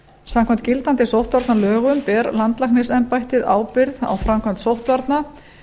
samkvæmt gildandi sóttvarnalögum ber ber landlæknisembættið ábyrgð á framkvæmd sóttvarna